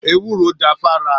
Èwúrò dà fà rà